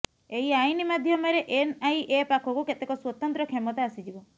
ଏହି ଆଇନ ମାଧ୍ୟମରେ ଏନଆଇଏ ପାଖକୁ କେତେକ ସ୍ୱତନ୍ତ୍ର କ୍ଷମତା ଆସିଯିବ